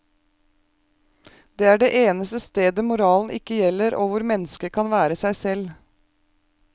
Det er det eneste stedet moralen ikke gjelder og hvor mennesket kan være seg selv.